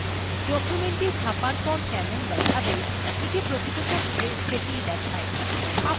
documentটি ছাপার পর কেমন দেখাবে এটি প্রকৃতপক্ষে সেটিis দেখায়